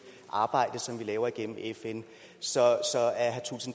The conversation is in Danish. arbejde som vi laver igennem fn så